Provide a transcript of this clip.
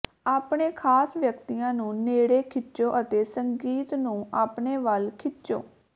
ਆਪਣੇ ਖ਼ਾਸ ਵਿਅਕਤੀਆਂ ਨੂੰ ਨੇੜੇ ਖਿੱਚੋ ਅਤੇ ਸੰਗੀਤ ਨੂੰ ਆਪਣੇ ਵੱਲ ਖਿੱਚੋ